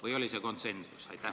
Või oli see siiski konsensus?